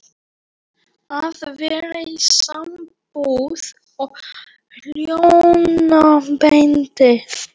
Ég er heldur ekki rétta manneskjan fyrir þig.